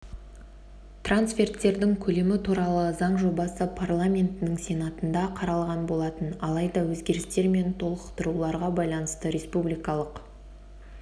трансферттердің көлемі туралы заң жобасы парламентінің сенатында қаралған болатын алайда өзгерістер мен толықтыруларға байланысты республикалық